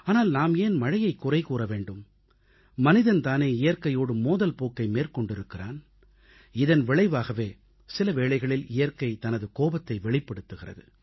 ஆனால் நாம் ஏன் மழையைக் குறை கூற வேண்டும் மனிதன் தானே இயற்கையோடு மோதல் போக்கை மேற்கொண்டிருக்கிறான் இதன் விளைவாகவே சில வேளைகளில் இயற்கை தனது கோபத்தை வெளிப்படுத்துகிறது